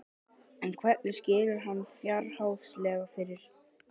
En hvernig skilur hann fjárhagslega við fyrirtækið?